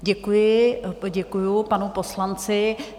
Děkuji, poděkuji panu poslanci.